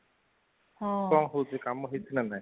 କଣ ହେଉଛି କାମ ହେଇଛି ନା ନାହିଁ